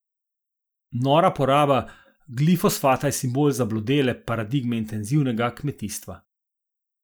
Nora poraba glifosata je simbol zablodele paradigme intenzivnega kmetijstva.